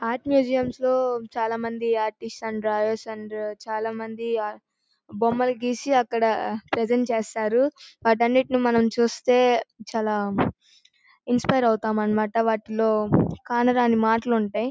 Art museum లో చాల మంది ఆర్టిస్ట్ అండ్ ఆర్టిస్ట్అండ్ చాలా మంది అక్కడ బొమ్మలు జెసి ప్రెసెంట్ చేస్తారు వాటన్నిటిని మనం చుస్తే చాలా ఇన్స్పిరె అవటం అన్నమాట వాటిలో కానీ దానిలో మాటలుంటాయి.